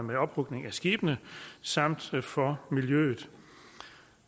med ophugning af skibene samt for miljøet